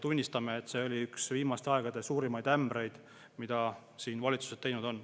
Tunnistame, et see oli üks viimaste aegade suurimaid ämbreid, mille valitsus on teinud.